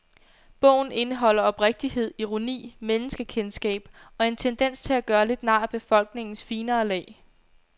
Bogen indeholder oprigtighed, ironi, menneskekendskab og en tendens til at gøre lidt nar af befolkningens finere lag.